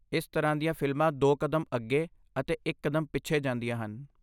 ਇਸ ਤਰ੍ਹਾਂ ਦੀਆਂ ਫ਼ਿਲਮਾਂ ਦੋ ਕਦਮ ਅੱਗੇ ਅਤੇ ਇੱਕ ਕਦਮ ਪਿੱਛੇ ਜਾਂਦੀਆਂ ਹਨ।